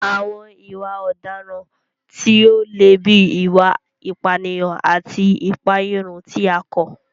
Àwọn ìwà ọ̀daràn tí ó le bíi ìwà ìpànìyàn àti ìpàẹ̀yàrun tí a kọ̀